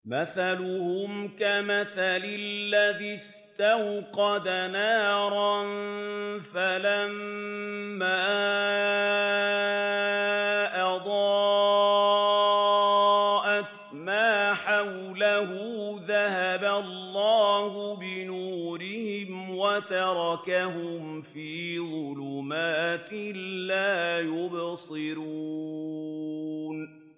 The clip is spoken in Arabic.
مَثَلُهُمْ كَمَثَلِ الَّذِي اسْتَوْقَدَ نَارًا فَلَمَّا أَضَاءَتْ مَا حَوْلَهُ ذَهَبَ اللَّهُ بِنُورِهِمْ وَتَرَكَهُمْ فِي ظُلُمَاتٍ لَّا يُبْصِرُونَ